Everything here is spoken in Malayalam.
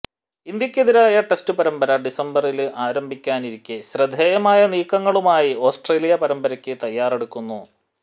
ഇന്ത്യയ്ക്കെതിരായ ടെസ്റ്റ് പരമ്പര ഡിസംബറില് ആരംഭിക്കാനിരിക്കെ ശ്രദ്ധേയമായ നീക്കങ്ങളുമായി ഓസ്ട്രേലിയ പരമ്പരയ്ക്ക് തയാറെടുക്കുന്നു